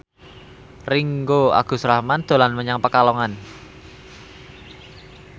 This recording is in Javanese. Ringgo Agus Rahman dolan menyang Pekalongan